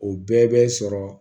O bɛɛ bɛ sɔrɔ